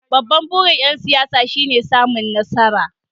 Babban burin ‘yan siyasa shine samun nasara.